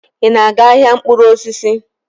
Ị na-aga ahịa mkpụrụ osisi?